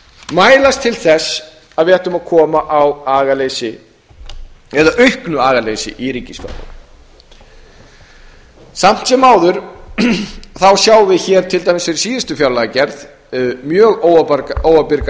mælast til þess að við ættum að koma á agaleysi eða auknu agaleysi í ríkisfjármálum samt sem áður sjáum við hér til dæmis fyrir síðustu fjárlagagerð mjög óábyrgar